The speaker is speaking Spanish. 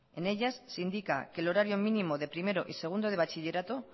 en ellas se indica que el horario mínimo de primero y segundo de bachillerato